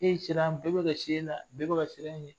E siran bɛɛ bɛ ka na bɛɛ ka siran e ɲɛ